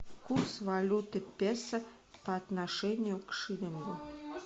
курс валюты песо по отношению к шиллингу